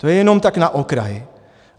To je jenom tak na okraj.